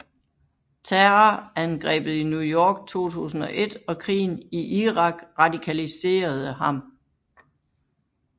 Terrorangrebet i New York 2001 og krigen i Irak radikaliserede ham